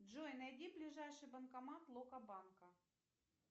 джой найди ближайший банкомат локо банка